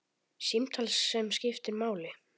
Símtal sem skiptir máli